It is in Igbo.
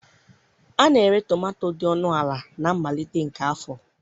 A na-ere tomato dị ọnụ ala na mmalite nke afọ.